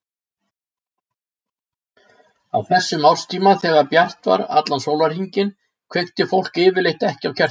Á þessum árstíma, þegar bjart var allan sólarhringinn, kveikti fólk yfirleitt ekki á kertum.